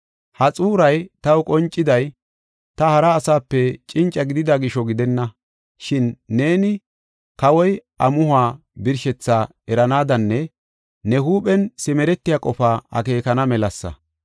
Ha xuuray taw qonciday, ta hara asape cinca gidida gisho gidenna. Shin neeni kawoy, amuhuwa birshethaa eranaadanne ne huuphen simeretiya qofa akeekana melasa.